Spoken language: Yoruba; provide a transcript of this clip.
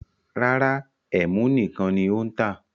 Rárá, ẹ́mú nìkan ní ó ń tà.